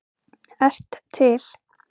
ert til!